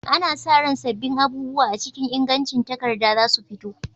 Ana sa ran sabbin abubuwa a cikin ingancin takarda za su fito.